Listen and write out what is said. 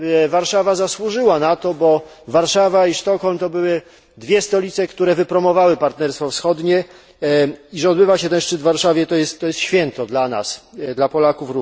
Warszawa zasłużyła na to, bo Warszawa i Sztokholm to były dwie stolice, które wypromowały Partnerstwo Wschodnie i że odbywa się ten szczyt w Warszawie, to jest święto dla nas, również dla Polaków.